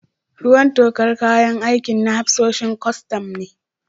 Ruwan tokar kayan aikin na hafsoshin kwastam ne.